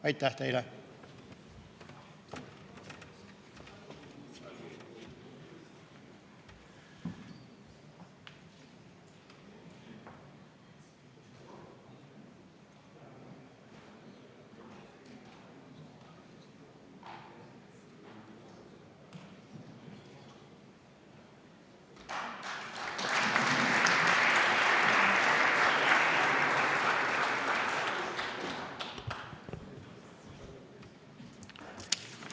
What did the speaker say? Aitäh teile!